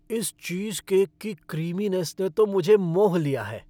इस चीज़केक की क्रीमीनेस ने तो मुझे मोह लिया है।